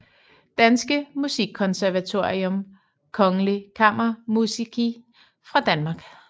Danske Musikkonservatorium Kongelige kammermusici fra Danmark